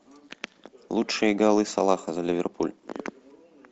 лучшие голы салаха за ливерпуль